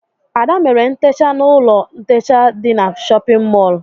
Ada mere ntecha n'ụlọ ntecha dị n'shóppin mol.